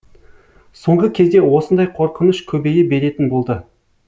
соңғы кезде осындай қорқыныш көбейе беретін болды